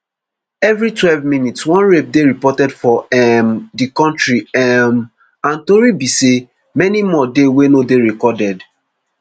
every twelve minutes one rape dey reported for um di kontri um and tori be say many more dey wey no dey recorded